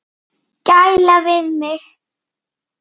Gæla við mig.